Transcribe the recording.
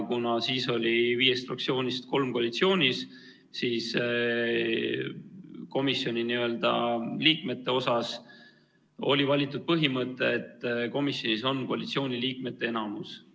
Kuna siis oli viiest fraktsioonist kolm koalitsioonis, siis kehtis komisjoni liikmete seas põhimõte, et komisjonis on koalitsiooni liikmete enamus.